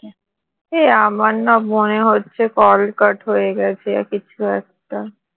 এ আমার না মনে হচ্ছে call cut হয়ে গেছে বা কিছু একটা